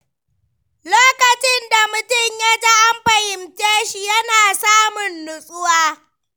Lokacin da mutum ya ji an fahimce shi, yana samun nutsuwa.